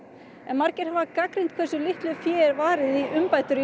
en margir hafa gagnrýnt hversu litlu fé er varið í umbætur